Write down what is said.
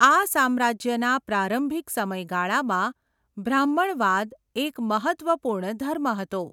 આ સામ્રાજ્યના પ્રારંભિક સમયગાળામાં બ્રાહ્મણવાદ એક મહત્ત્વપૂર્ણ ધર્મ હતો.